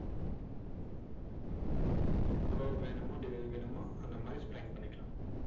curve வேணுமோ வேணுமோ, அந்த மாதிரி spline பண்ணிக்கலாம்.